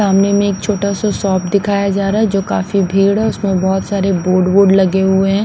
सामने में एक छोटा सा शॉप दिखाया जा रहा है जो काफी भीड़ है उसमें बहुत सारे बोर्ड बोर्ड लगे हुए हैं।